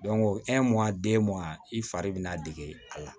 i fari bɛ na dege a la